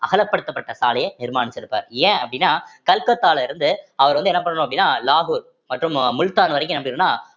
அகலப்படுத்தப்பட்ட சாலையை நிர்மானிச்சிருப்பாரு ஏன் அப்படின்னா கல்கத்தால இருந்து அவர் வந்து என்ன பண்ணணும் அப்படின்னா லாகூர் மற்றும் மு~ முல்தான் வரைக்கும் என்ன பணியிருக்குன்னா